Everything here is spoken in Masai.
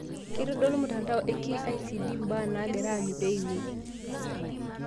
Ketodolu mtandao e KICD mbaa naagira anyu peeimieki